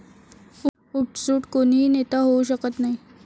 उठसूठ कोणीही नेता होऊ शकत नाही.